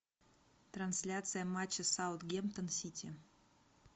трансляция матча саутгемптон сити